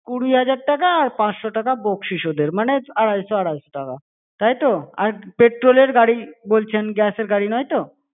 কুড়ি হাজার টাকা আর পাঁচশো টাকা বকশিস ওদের। মানে আড়াইশো-আড়াইশো টাকা, তাই তো? আর petrol -এর গাড়ি বলছেন, gas -এর গাড়ি নয় তো?